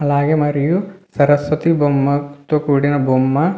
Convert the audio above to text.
అలాగే మరియు సరస్వతి బొమ్మ తో కూడిన బొమ్మ --